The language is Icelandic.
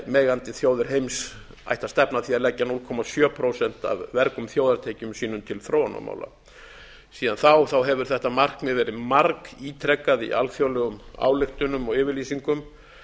vel megandi þjóðir heims ættu að stefna að því að leggja núll komma sjö prósent af vergum þjóðartekjum sínum til þróunarmála síðan þá hefur þetta markmið verið margítrekað í alþjóðlegum ályktunum og yfirlýsingum